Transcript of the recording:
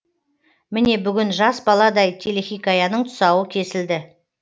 міне бүгін жас баладай телехикаяның тұсауы кесілді